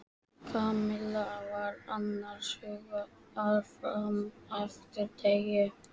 Kamilla var annars hugar fram eftir degi.